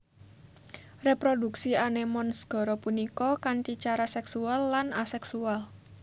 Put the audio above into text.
Reproduksi anémon segara punika kanthi cara sèksual lan asèksual